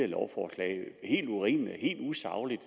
lovforslag helt urimeligt helt usagligt